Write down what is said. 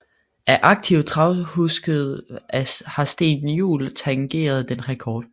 Af aktive travkuske har Steen Juul tangeret den rekord